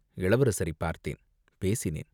இளவரசரைப் பார்த்தேன், பேசினேன்.